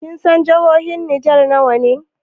Kinsan jihohin ƙasar Nijar nawa ne?